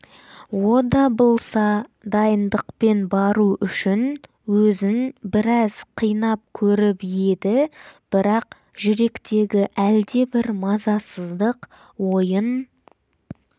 ода блса дайындықпен бару үшін өзін біраз қинап көріп еді бірақ жүректегі әлдебір мазасыздық ойын